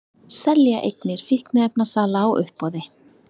Selja eignir fíkniefnasala á uppboði